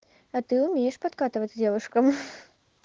а ты умеешь подкатывать к девушкам